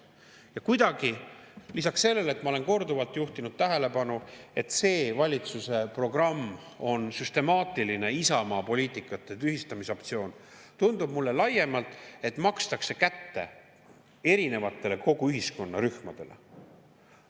Ja kuidagi, lisaks sellele, millele ma olen korduvalt juhtinud tähelepanu, et see valitsuse programm on süstemaatiline Isamaa poliitika tühistamise aktsioon, tundub mulle laiemalt, et makstakse kätte erinevatele kogu ühiskonna rühmadele.